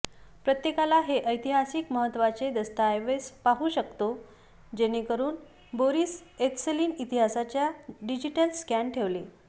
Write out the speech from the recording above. प्रत्येकाला हे ऐतिहासिक महत्त्वाचे दस्तऐवज पाहू शकतो जेणेकरून बोरिस येल्त्सिन इतिहासाच्या डिजिटल स्कॅन ठेवले